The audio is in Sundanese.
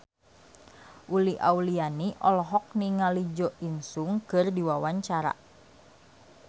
Uli Auliani olohok ningali Jo In Sung keur diwawancara